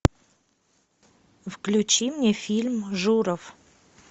включи мне фильм журов